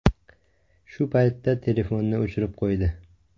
Shu paytda telefonni o‘chirib qo‘ydi.